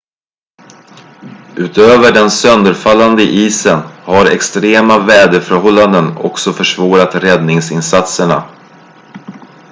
utöver den sönderfallande isen har extrema väderförhållanden också försvårat räddningsinsatserna